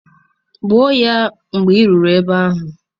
Gbụọ ya mgbe ị rutere ebe ahụ.